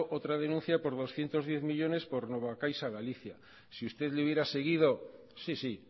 otra denuncia por doscientos diez millónes por nova caixa galicia si usted le hubiera seguido sí sí